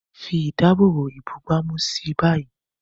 Fi ìdáàbòbò ìbúgbàmù sí i báyìí.